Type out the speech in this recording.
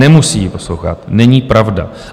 Nemusí ji poslouchat, není pravda.